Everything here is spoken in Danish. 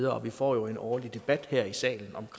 og vi får jo en årlig debat her i salen om